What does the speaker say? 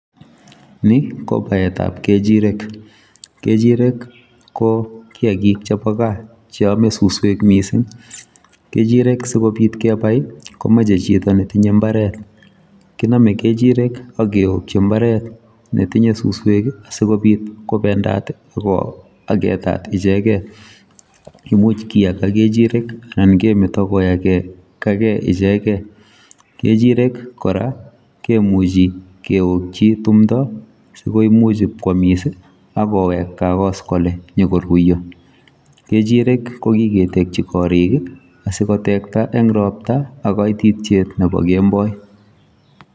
Ni ko baet ab kechireek, kechireek ii ko kiagik chebo gaah cheame susweek mising, kechireek sikobiit kebai ii komachei chitoo netinye mbaret kiname kechireek, ak keyokyii mbaret ne tinyei susweek ii sikobiit kobendaat ii ak ko agetaat ichegeen imuuch kiyagaa kechireek ii anan kemetaa kiyagaa gei ichegeen kechireek kora kemuchi kewokyii timdaap sikomuuch koyamis ako week takos inyokoruria kechireek ko kiketekyiin koriik ii asiko tekta en roptaa ak kaititiet nebo kemboi.